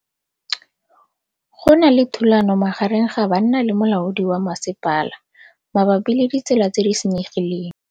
Go na le thulanô magareng ga banna le molaodi wa masepala mabapi le ditsela tse di senyegileng.